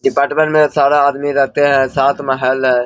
Department में सारा आदमी रहते है सात महल है।